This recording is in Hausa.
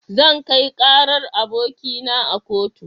Zan kai karar abokina a kotu.